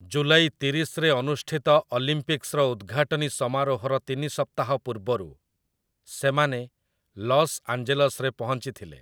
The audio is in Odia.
ଜୁଲାଇ ତିରିଶରେ ଅନୁଷ୍ଠିତ ଅଲିମ୍ପିକ୍ସର ଉଦ୍‌ଘାଟନୀ ସମାରୋହର ତିନି ସପ୍ତାହ ପୂର୍ବରୁ ସେମାନେ ଲସ୍ ଆଞ୍ଜେଲସରେ ପହଞ୍ଚିଥିଲେ ।